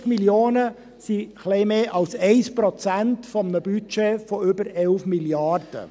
150 Mio. Franken sind ein wenig mehr als 1 Prozent eines Budgets von über 11 Mrd. Franken.